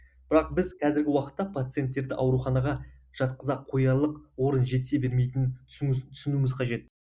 бірақ біз қазіргі уақытта пациенттерді ауруханаға жатқыза қоялық орын жетісе бермейтінін түсіну түсінуіміз қажет